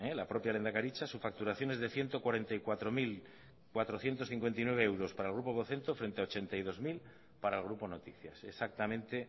la propia lehendakaritza su facturación es de ciento cuarenta y cuatro mil cuatrocientos cincuenta y nueve euros para el grupo vocento frente a ochenta y dos mil para el grupo noticias exactamente